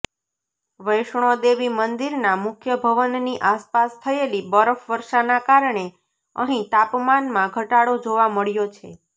વૈષ્ણોદેવી મંદિરના મુખ્ય ભવનની આસપાસ થયેલી બરફ વર્ષાના કારણે અહીં તાપમાનમાં ઘટાડો જોવા મળ્યો છે